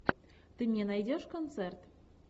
ты мне найдешь концерт